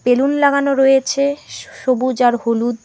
Balloon লাগানো রয়েছে স সবুজ আর হলুদ।